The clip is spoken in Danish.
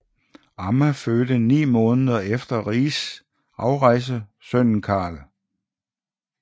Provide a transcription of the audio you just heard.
Amma fødte ni måneder efter Rigs afrejse sønnen Karl